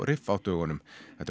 dögunum þetta